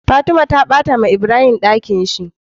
Fatima ta batawa ibrahim Ɗakinshi